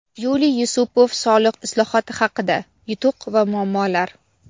Yuliy Yusupov soliq islohoti haqida: yutuq va muammolar.